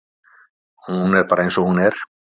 Hún er bara eins og hún er.